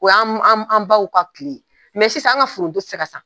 O y'an baw ka tile ye , mɛ sisan an ka foronton tɛ se ka san.